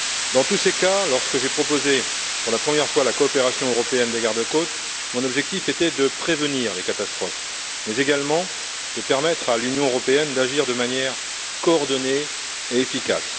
Dans tous ces cas, lorsque j'ai proposé pour la première fois la coopération européenne des garde côtes, mon objectif était non seulement de prévenir les catastrophes, mais également de permettre à l'Union européenne d'agir de manière coordonnée et efficace.